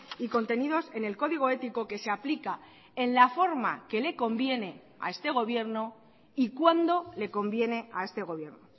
y contenidos en el código ético que se aplica en la forma que le conviene a este gobierno y cuando le conviene a este gobierno